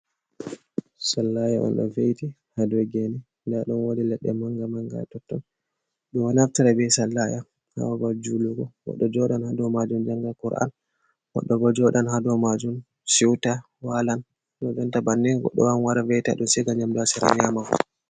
Sallaya on do veiti ha do gene nda dum wodi leɗɗe manga manga ha totton dow naftra be sallaya ha ɓaɓal julugo goɗɗo jodan ha do majum janga kur’an goɗɗo bo joɗan ha dow majum shiuta, walan, kojodanta bannin goɗɗo wawan wara maita dum shiga nyamdoha sira nyama fu.